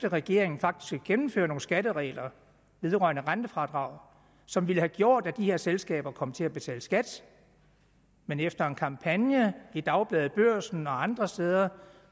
at regeringen faktisk gennemføre nogle skatteregler vedrørende rentefradrag som ville have gjort at de her selskaber kom til at betale skat men efter en kampagne i dagbladet børsen og andre steder